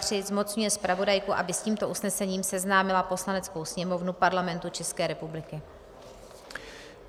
III. zmocňuje zpravodajku, aby s tímto usnesením seznámila Poslaneckou sněmovnu Parlamentu České republiky.